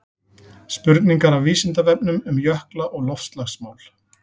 spurningar af vísindavefnum um jökla og loftslagsmál